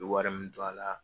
N ye wari min don a la.